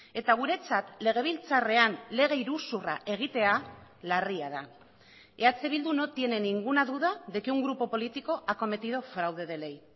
eta guretzat legebiltzarrean lege iruzurra egitea larria da eh bildu no tiene ninguna duda de que un grupo político ha cometido fraude de ley